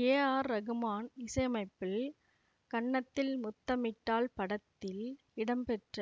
ஏ ஆர் ரகுமான் இசையமைப்பில் கன்னத்தில் முத்தமிட்டால் படத்தில் இடம்பெற்ற